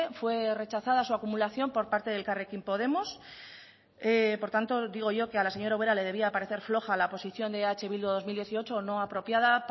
fue rechazada su acumulación por parte de elkarrekin podemos por tanto digo yo que a la señora ubera le debía parecer floja la posición de eh bildu dos mil dieciocho o no apropiada